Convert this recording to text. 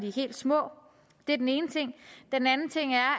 er helt små det er den ene ting den anden ting er